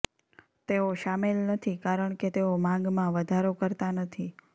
તેઓ શામેલ નથી કારણ કે તેઓ માંગમાં વધારો કરતા નથી